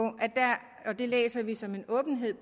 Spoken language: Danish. og det læser vi som en åbenhed